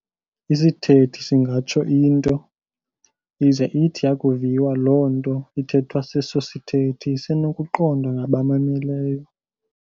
Isithethi singatsho into, ize ithi yakuviwa loo nto ithethwa seso sithethi isenokuqondwa ngabamameleyo.